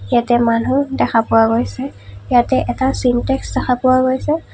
ইয়াতে মানুহ দেখা পোৱা গৈছে ইয়াতে এটা চিনটেক্স দেখা পোৱা গৈছে।